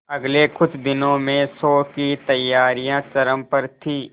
अगले कुछ दिनों में शो की तैयारियां चरम पर थी